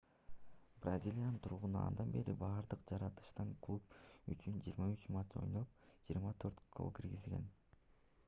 бразилиянын тургуну андан бери бардык жарыштарда клуб үчүн 53 матч ойноп 24 гол киргизген